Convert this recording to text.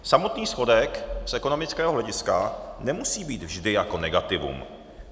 Samotný schodek z ekonomického hlediska nemusí být vždy jako negativum.